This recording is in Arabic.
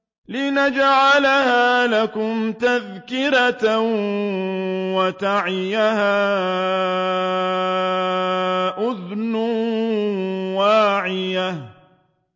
لِنَجْعَلَهَا لَكُمْ تَذْكِرَةً وَتَعِيَهَا أُذُنٌ وَاعِيَةٌ